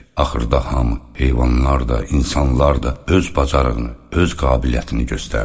Axırda hamı, heyvanlar da, insanlar da öz bacarığını, öz qabiliyyətini göstərdi.